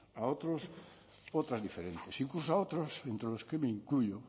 a otros otras diferentes incluso a otros entre los que me incluyo